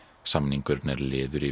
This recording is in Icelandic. samningurinn er liður í